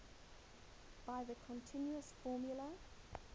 by the continuous formula